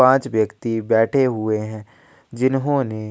पांच व्यक्ति बैठे हुए है जिन्होंने--